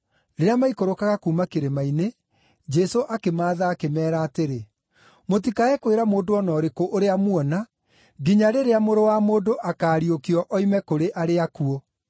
Rĩrĩa maikũrũkaga kuuma kĩrĩma-inĩ, Jesũ akĩmaatha akĩmeera atĩrĩ, “Mũtikae kwĩra mũndũ o na ũrĩkũ ũrĩa muona, nginya rĩrĩa Mũrũ wa Mũndũ akaariũkio oime kũrĩ arĩa akuũ.”